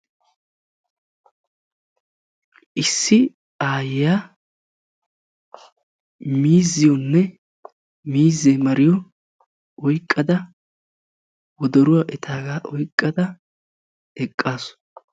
Issi aayiya miizziyonne miizze mariyonne woddoruwa oyqqadda eqqassu.